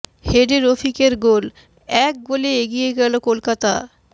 হেডে রফিকের গোল এক গোলে এগিয়ে গেল কলকাতা